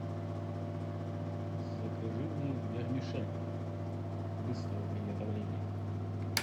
закажи мне вермишель быстрого приготовления